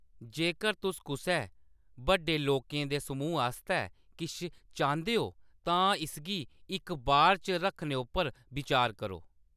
जेकर तुस कुसै बड्डे लोकें दे समूह् आस्तै किश चांह्‌‌‌दे हो, तां इसगी इक बार च रक्खने उप्पर बिचार करो।